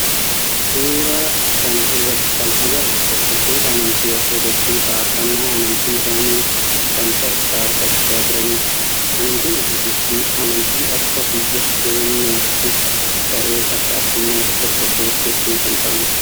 Suuraa kana irratti kan agarru hordoftoota amantii ortodoksii faarfannaa amantii isaanii kan ta'e faarfachaa jirani dha. Amantiin ortodoksii amanti akka biyya teenyattis ta'ee akka adduunyaatti hordoftoota heddu kan qabu dha.